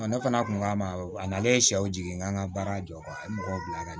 Ne fana kun k'a ma a nalen sɛw jigin n ka baara jɔ n bɛ mɔgɔw bila ka na